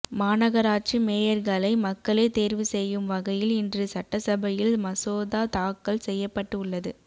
மாநகராட்சி மேயர்களை மக்களே தேர்வு செய்யும் வகையில் இன்று சட்டசபையில் மசோதா தாக்கல் செய்யப்பட்டு உள்ளது